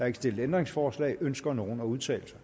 ikke stillet ændringsforslag ønsker nogen at udtale sig